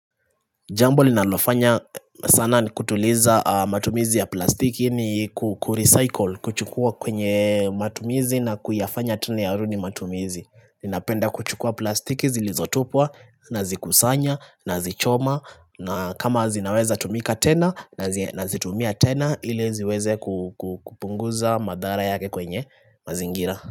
Jambo linalofanya sana ni kutuliza matumizi ya plastiki ni kurecycle, kuchukua kwenye matumizi na kuyafanya tena yarudi matumizi Ninapenda kuchukua plastiki zilizotupwa, nazikusanya, nazichoma, na kama zinaweza tumika tena, nazitumia tena, ili ziweze kupunguza madhara yake kwenye mazingira.